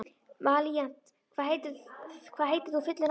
Valíant, hvað heitir þú fullu nafni?